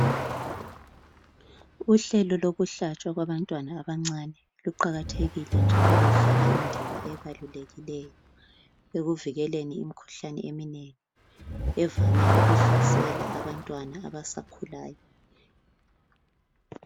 Uhlelo lokuhlatshwa kwabantwana abancane luqakathekile njalo ludlala indima ebalulekileyo ekuvikeleni imikhuhlane eminengi evame ukuhlasela abantwana abasakhulayo.